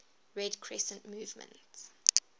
red crescent movement